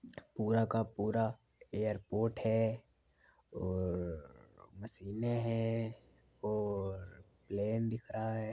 पूरा का पूरा एरपोर्ट है और मशीने है और प्लेन दिख रहा है।